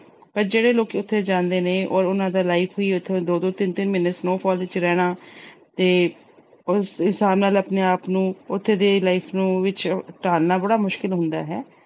ਪਰ ਜਿਹੜੇ ਲੋਕੀ ਉਥੇ ਜਾਂਦੇ ਨੇ, ਉਹਨਾਂ ਦਾ life ਵੀ, ਦੋ-ਦੋ, ਤਿੰਨ-ਤਿੰਨ ਮਹੀਨੇ snowfall ਵਿੱਚ ਰਹਿਣਾ ਤੇ ਉਸ ਹਿਸਾਬ ਨਾਲ ਆਪਣੇ ਆਪ ਨੂੰ ਉਥੇ ਦੀ life ਨੂੰ ਵਿੱਚ ਢਾਲਣਾ ਬੜਾ ਮੁਸ਼ਕਲ ਹੁੰਦਾ ਏ।